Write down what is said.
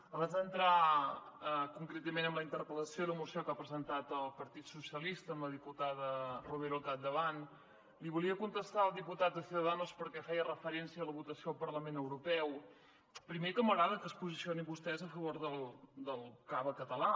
abans d’entrar concretament en la interpel·lació i la moció que ha presentat el partit socialistes amb la diputada romero al capdavant li volia contestar al diputat de ciudadanos perquè feia referència a la votació al parlament europeu primer que m’agrada que es posicionin vostès a favor del cava català